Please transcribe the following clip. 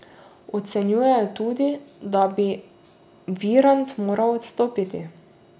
Ocenjuje tudi, da bi Virant moral odstopiti.